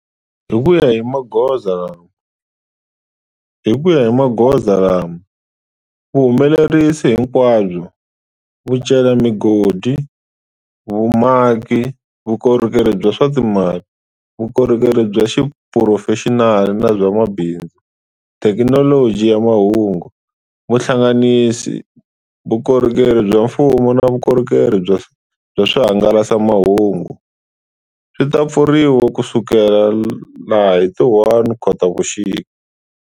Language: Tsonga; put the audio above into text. Hi ku ya hi magoza lama, vuhumelerisi hinkwabyo, vucelamigodi, vumaki, vukorhokeri bya swa timali, vukorhokeri bya xiphurofexinali na bya mabindzu, thekinoloji ya mahungu, vuhlanganisi, vukorhokeri bya mfumo na vukorhokeri bya swihangalasamahungu, swi ta pfuriwa kusukela hi ti 1 Khotavuxika.